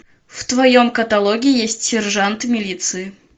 в твоем каталоге есть сержант милиции